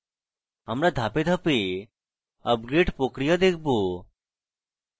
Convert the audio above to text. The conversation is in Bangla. আমরা ধাপে ধাপে আপগ্রেড প্রক্রিয়া দেখবো